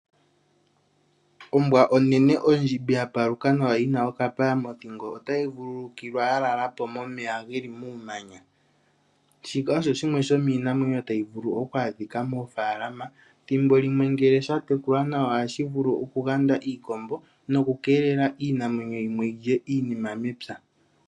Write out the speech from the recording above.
Ombwa onene ondjimbi ya paluka nawa yina okapaya mothingo, otayi vulukilwa ya lala po momeya geli muumanya. Shika osho shimwe shomiinamwenyo tayi vulu okwadhika moofaalama, thimbo limwe ngele sha tekulwa nawa ohashi vulu okuganda iikombo nokukeelela iinamwenyo yimwe yilye iinima mepya.